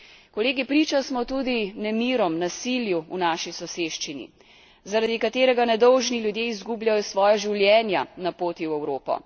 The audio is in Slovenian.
Kolegi, priča smo tudi nemirom, nasilju v naši soseščini, zaradi katerega nedolžni ljudje izgubljajo svoja življenja na poti v Evropo.